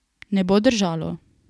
Ne bo držalo.